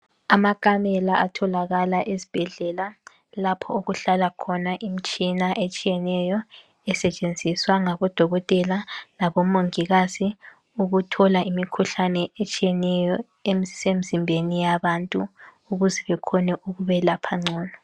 Amakamela atholakala esibhedlela lapho okuhlala khona imtshina etshiyeneyo esetshenziswa ngabodokotela labomongikazi ukuthola imikhuhlane etshiyeneyo esemzimbeni yabantu ukuze bekhone ukubelapha ngcono.